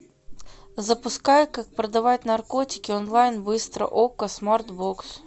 запускай как продавать наркотики онлайн быстро окко смарт бокс